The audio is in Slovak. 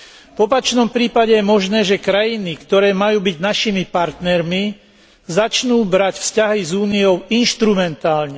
V opačnom prípade je možné, že krajiny, ktoré majú byť našimi partnermi, začnú brať vzťahy s Úniou inštrumentálne.